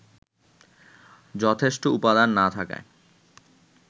যথেষ্ট উপাদান না থাকায়